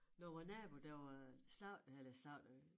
Når vor nabo der var slagtede eller slagtede